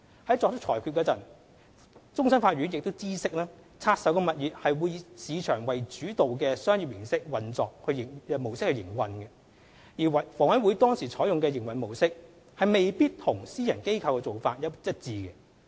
在作出裁決前，終審法院已知悉拆售物業會以市場主導的商業運作模式營運，而房委會當時採用的營運模式，未必與私人機構的做法一致。